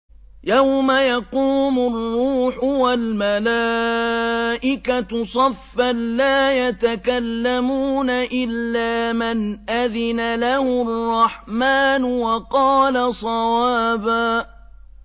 يَوْمَ يَقُومُ الرُّوحُ وَالْمَلَائِكَةُ صَفًّا ۖ لَّا يَتَكَلَّمُونَ إِلَّا مَنْ أَذِنَ لَهُ الرَّحْمَٰنُ وَقَالَ صَوَابًا